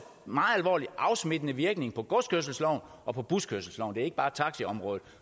meget alvorlig afsmittende virkning på godskørselsloven og buskørselsloven ikke bare taxiområdet